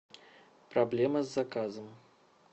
проблема с заказом